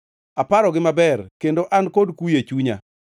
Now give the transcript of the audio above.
Aparogi maber, kendo an kod kuyo e chunya.